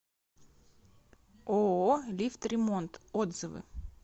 ооо лифтремонт отзывы